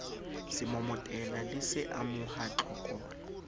semomotela le se amoha tlokola